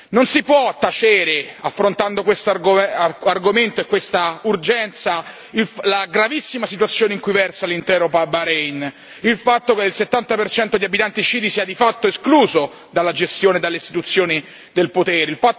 Non si può tacere, affrontando questo argomento e questa urgenza, la gravissima situazione in cui versa l'intero Bahrein il fatto che il 70 di abitanti sciiti sia di fatto escluso dalla gestione e dalle istituzioni del potere